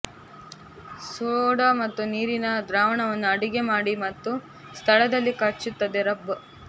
soda ಮತ್ತು ನೀರಿನ ದ್ರಾವಣವನ್ನು ಅಡಿಗೆ ಮಾಡಿ ಮತ್ತು ಸ್ಥಳದಲ್ಲಿ ಕಚ್ಚುತ್ತದೆ ರಬ್